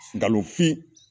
Nkalonfin.